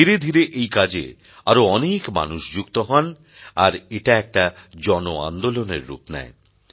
ধীরে ধীরে এই কাজে আরও অনেক মানুষ যুক্ত হন আর এটা একটা জন আন্দোলনের রূপ নেয়